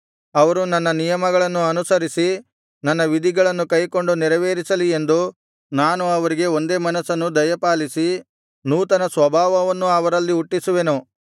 ಅವರು ನನ್ನ ನಿಯಮಗಳನ್ನು ಅನುಸರಿಸಿ ನನ್ನ ವಿಧಿಗಳನ್ನು ಕೈಕೊಂಡು ನೆರವೇರಿಸಲಿ ಎಂದು ನಾನು ಅವರಿಗೆ ಒಂದೇ ಮನಸ್ಸನ್ನು ದಯಪಾಲಿಸಿ ನೂತನ ಸ್ವಭಾವವನ್ನು ಅವರಲ್ಲಿ ಹುಟ್ಟಿಸುವೆನು